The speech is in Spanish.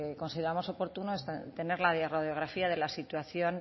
consideramos oportuno es tener la radiografía de la situación